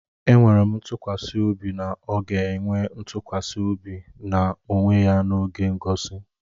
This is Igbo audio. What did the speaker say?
Enwere m ntụkwasị obi na ọ ga-enwe ntụkwasị obi na onwe ya n'oge ngosi